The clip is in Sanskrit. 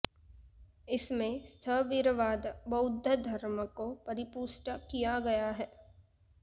इसमें स्थविरवाद बौद्ध धर्म को परिपुष्ट किया गया है